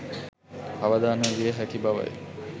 අවදානම් විය හැකි බවයි